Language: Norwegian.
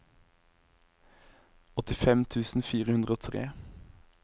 åttifem tusen fire hundre og tre